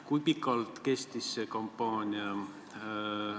Kui pikalt see kampaania kestis?